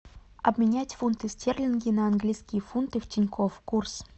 обменять фунты стерлинги на английские фунты в тинькофф курс